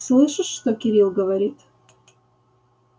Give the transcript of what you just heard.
слышишь что кирилл говорит